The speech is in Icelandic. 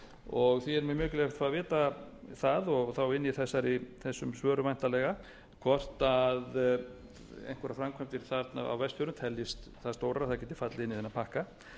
og því er mjög mikilvægt að vita það og þá inni í þessum svörum væntanlega hvort einhverjar framkvæmdir þarna á vestfjörðum teljist það stórar að þær geti fallið inn í þennan pakka